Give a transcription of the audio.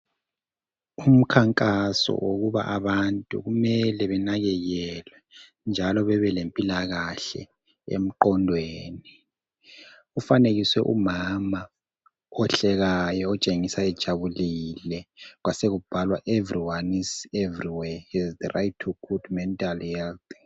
Umkhankaso wokuba abantu kumele benakekelwe njalo bebelempilakahle emqondweni kufanekiswe umama ohlekayo otshengisa ejabulile. Kwasekubhalwa, " EVERYONE, EVERYWHERE has the right to good mental health."